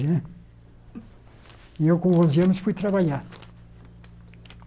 Né e eu com onze anos fui trabalhar.